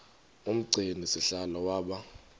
umgcini sihlalo waba